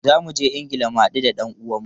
Za mu je Ingila mu hadu da dan uwanmu.